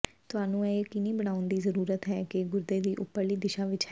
ਤੁਹਾਨੂੰ ਇਹ ਯਕੀਨੀ ਬਣਾਉਣ ਦੀ ਜ਼ਰੂਰਤ ਹੈ ਕਿ ਗੁਰਦੇ ਦੀ ਉਪਰਲੀ ਦਿਸ਼ਾ ਵਿੱਚ ਹੈ